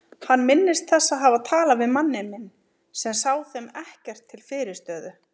Hann minnist þess að hafa talað við manninn minn sem sá þeim ekkert til fyrirstöðu.